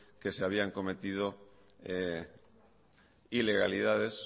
que se habían cometido ilegalidades